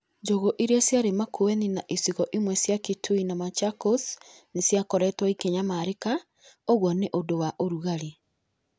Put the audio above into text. Njũgũ iria ciarĩ Makueni na icigo imwe cia Kitui na Machakos nĩ ciakoretwo ikĩnyamarĩka. Ũguo nĩ ũndũ wa ũrugarĩ.